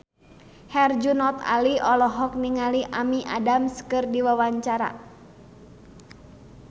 Herjunot Ali olohok ningali Amy Adams keur diwawancara